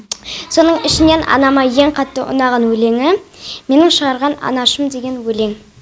соның ішінен анама ең қатты ұнаған өлеңі менің шығарған анашым деген өлең